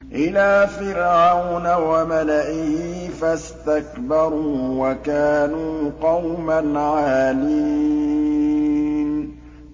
إِلَىٰ فِرْعَوْنَ وَمَلَئِهِ فَاسْتَكْبَرُوا وَكَانُوا قَوْمًا عَالِينَ